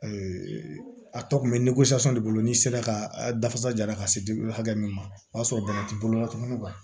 a tɔ kun bɛ de bolo n'i sera ka dafa ja la ka se di hakɛ min ma o y'a sɔrɔ bana t'i bolo la tuma min